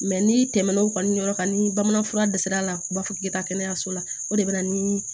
n'i tɛmɛn'o kan ni yɔrɔ kan ni bamananfura dɛsɛra u b'a fɔ k'i ka taa kɛnɛyaso la o de bɛ na ni